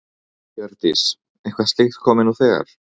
Hjördís: Eitthvað slíkt komið nú þegar?